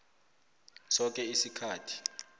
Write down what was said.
soke isikhathi